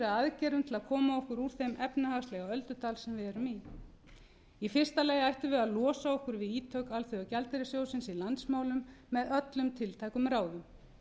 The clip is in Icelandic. aðgerðum til að koma okkur úr þeim efnahagslega öldudal sem við erum í í fyrsta lagi ættum við að losa okkur við ítök alþjóðagjaldeyrissjóðsins í landsmálunum með öllum tiltækum ráðum